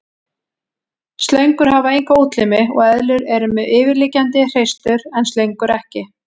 Slöngur hafa enga útlimi og eðlur eru með yfirliggjandi hreistur en slöngur ekki.